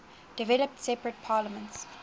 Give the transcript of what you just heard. developed separate parliaments